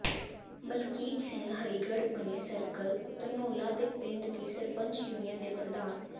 ਮਲਕੀਤ ਸਿੰਘ ਹਰੀਗੜ੍ਹ ਬਣੇ ਸਰਕਲ ਧਨੌਲਾ ਦੇ ਪਿੰਡਾਂ ਦੀ ਸਰਪੰਚ ਯੂਨੀਅਨ ਦੇ ਪ੍ਰਧਾਨ